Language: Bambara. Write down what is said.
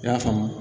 I y'a faamu